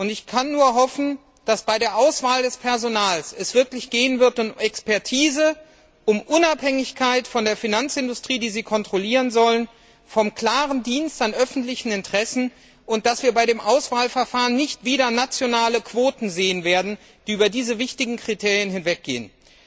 Ich kann nur hoffen, dass es bei der Auswahl des Personals wirklich um Expertise, um Unabhängigkeit von der Finanzindustrie, die sie kontrollieren sollen, um den klaren Dienst an öffentlichen Interessen gehen wird und dass wir bei dem Auswahlverfahren nicht wieder nationale Quoten sehen werden, die sich über diese wichtigen Kriterien hinwegsetzen.